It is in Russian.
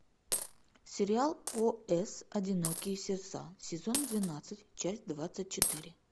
сериал о с одинокие сердца сезон двенадцать часть двадцать четыре